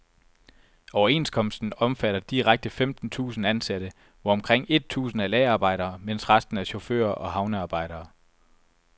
Overenskomsten omfatter direkte femten tusind ansatte, hvor omkring et tusind er lagerarbejdere, mens resten er chauffører og havnearbejdere.